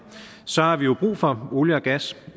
så har vi jo brug for olie og gas